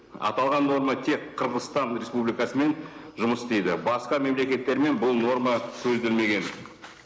аталған норма тек қырғызстан республикасымен жұмыс істейді басқа мемлекеттермен бұл норма көзделмеген